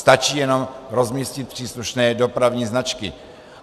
Stačí jenom rozmístit příslušné dopravní značky.